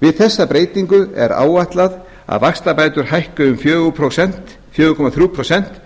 við þessa breytingu er áætlað að vaxtabætur hækki um fjóra komma þrjú prósent